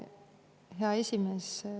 Hea esimees!